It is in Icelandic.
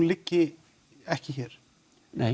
liggi ekki hér nei